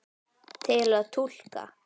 Til að túlka